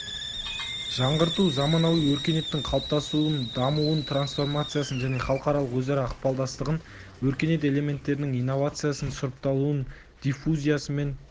жаңғырту заманауи өркениеттің қалыптасуын дамуын трансформациясын және халықаралық өзара ықпалдастығын өркениет элементтерінің инновациясын сұрыпталуын диффузиясы мен